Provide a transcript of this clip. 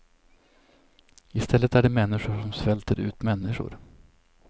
I stället är det människor som svälter ut människor.